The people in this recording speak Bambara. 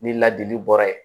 Ni ladili bɔra yen